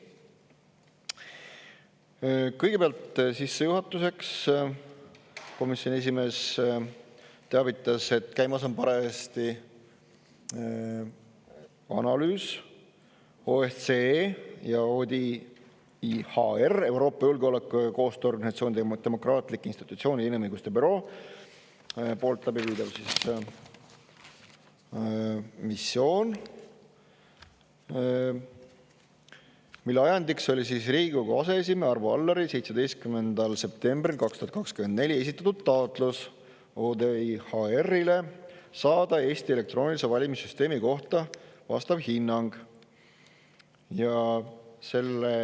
Kõigepealt sissejuhatuseks komisjoni esimees teavitas, et käimas on parajasti analüüs, OSCE ja ODIHR-i, Euroopa Julgeoleku ja Koostöö Organisatsiooni demokraatlike institutsioonide ja inimõiguste büroo poolt läbiviidav missioon, mille ajendiks oli Riigikogu aseesimehe Arvo Alleri 17. septembril 2024 esitatud taotlus ODIHR-ile saada Eesti elektroonilise valimissüsteemi kohta vastav hinnang.